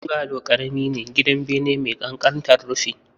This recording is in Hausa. Bungalow ƙarami ne, gidan bene mai ƙanƙantar rufin